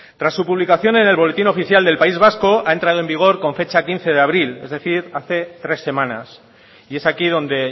tras su publicación en el boletín oficial del país vasco ha entrado en vigor con fecha quince de abril es decir hace tres semanas y es aquí donde